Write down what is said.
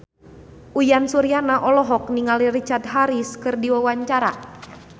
Uyan Suryana olohok ningali Richard Harris keur diwawancara